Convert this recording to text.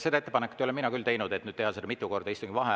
Seda ettepanekut ei ole mina küll teinud, et teha seda mitu korda istungi ajal.